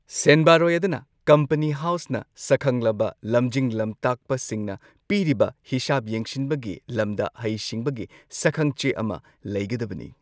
ꯁꯦꯟꯕꯥꯔꯣꯏ ꯑꯗꯨꯅ ꯀꯝꯄꯅꯤ ꯍꯥꯎ꯭ꯁꯅ ꯁꯛꯈꯪꯂꯕ ꯂꯝꯖꯤꯡ ꯂꯝꯇꯥꯛꯄꯁꯤꯡꯅ ꯄꯤꯔꯕ ꯍꯤꯁꯥꯕ ꯌꯦꯡꯁꯤꯟꯕꯒꯤ ꯂꯝꯗ ꯍꯩꯁꯤꯡꯕꯒꯤ ꯁꯛꯈꯪꯆꯦ ꯑꯃꯥ ꯂꯩꯒꯗꯕꯅꯤ꯫